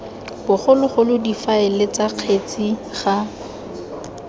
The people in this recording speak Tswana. bogologolo difaele ts kgetsi ga